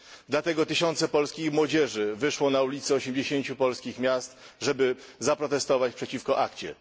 Dlatego tysiące polskiej młodzieży wyszło na ulice 80 polskich miast, żeby zaprotestować przeciwko ACTA.